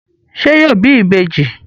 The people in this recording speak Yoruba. Ṣé yóò bí ìbejì?